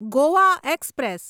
Goa express